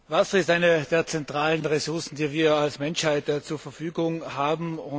Wasser ist eine der zentralen Ressourcen, die wir als Menschheit zur Verfügung haben.